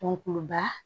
Dɔnku ba